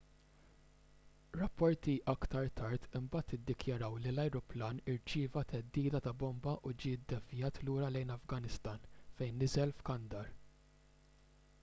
rapporti aktar tard imbagħad iddikjaraw li l-ajruplan irċieva theddida ta' bomba u ġie ddevjat lura lejn l-afganistan fejn niżel f'kandahar